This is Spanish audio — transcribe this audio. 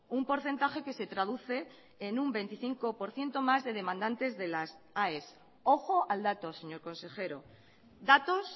un porcentaje que se traduce en un veinticinco por ciento más de demandantes de las aes ojo al dato señor consejero datos